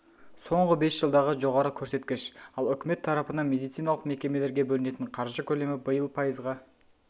соңғы бес жылдағы жоғары көрсеткіш ал үкімет тарапынан медициналық мекемелерге бөлінетін қаржы көлемі биыл пайызға